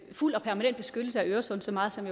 fuld og permanent beskyttelse af øresund så meget som